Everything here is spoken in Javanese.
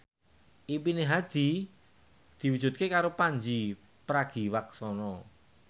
impine Hadi diwujudke karo Pandji Pragiwaksono